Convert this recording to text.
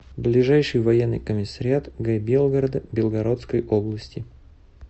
ближайший военный комиссариат г белгорода белгородской области